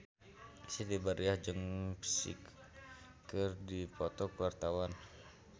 Siti Badriah jeung Psy keur dipoto ku wartawan